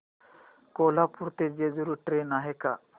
कोल्हापूर ते जेजुरी ट्रेन आहे का